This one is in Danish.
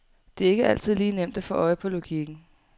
Det er ikke altid lige nemt at få øje på logikken.